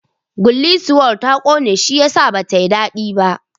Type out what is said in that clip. Gullisuwar ta ƙone shiyasa ba tayi daɗi ba